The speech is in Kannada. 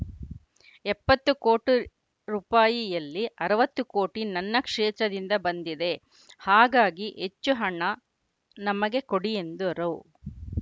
ಎಪ್ತತ್ತು ಕೋಟಿ ರುಪಾಯಿಯಲ್ಲಿ ಅರವತ್ತು ಕೋಟಿ ನನ್ನ ಕ್ಷೇತ್ರದಿಂದ ಬಂದಿದೆ ಹಾಗಾಗಿ ಹೆಚ್ಚು ಹಣ ನಮಗೆ ಕೊಡಿ ಎಂದರು